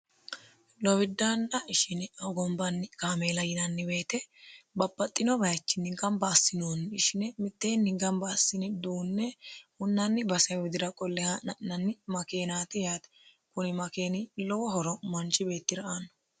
lowiddaanna shine hogombanni kaameela yinanni weete babaxxino bayichinni gamba assinoonni ishine mitteenni gamba assini duunne hunnanni base widira qolle ha'ne ha'nanni makeenaati yaate kuni makeeni lowo horo manchi beettira aanno